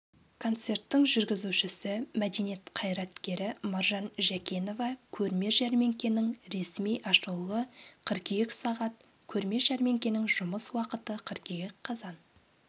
концерттің жүргізушісі мәдениет қайраткері маржан жәкенова көрме-жәрмеңкенің ресми ашылуы қыркүйек сағат көрме-жәрмеңкенің жұмыс уақыты қыркүйек қазан